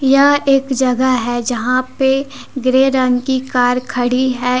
यह एक जगह है जहां पे ग्रे रंग की कार खड़ी है।